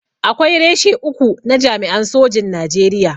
Akwai reshe uku na jami'an sojin Najeriya.